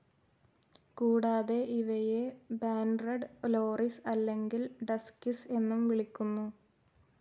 കൂടാതെ, ഇവയെ banded loris അല്ലെങ്കിൽ ഡസ്ക്കിസ് എന്നും വിളിക്കുന്നു.